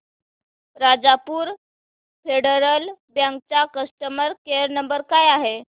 Rajapur Federal Bank चा customer care number काय आहे